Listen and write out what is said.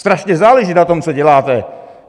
Strašně záleží na tom, co děláte.